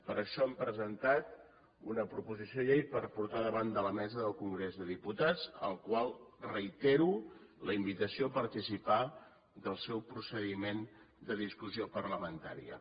per això hem presentat una proposició de llei per portar davant de la mesa del congrés dels diputats al qual reitero la invitació a participar del seu procediment de discussió parlamentària